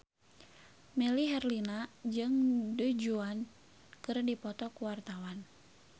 Melly Herlina jeung Du Juan keur dipoto ku wartawan